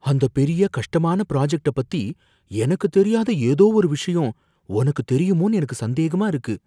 அந்த பெரிய கஷ்டமான ப்ராஜெக்ட்ட பத்தி எனக்கு தெரியாத ஏதோ ஒரு விஷயம் உனக்கு தெரியுமோன்னு எனக்கு சந்தேகமா இருக்கு.